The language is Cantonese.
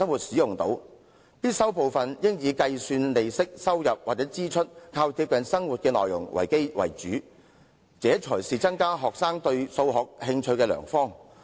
我認為必修部分應以計算利息、收入或支出等為主，這些內容較貼近生活，這才是增加學生對數學興趣的良方。